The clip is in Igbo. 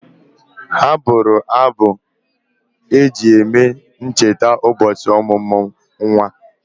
Ha bụụrụ m abụ eji e cheta ụbọchị ọmụmụ nwa.